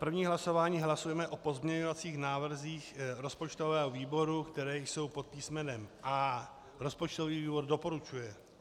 První hlasování, hlasujeme o pozměňovacích návrzích rozpočtového výboru, které jsou pod písmenem A. Rozpočtový výbor doporučuje.